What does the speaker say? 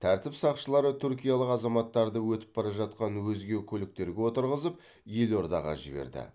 тәртіп сақшылары түркиялық азаматтарды өтіп бара жатқан өзге көліктерге отырғызып елордаға жіберді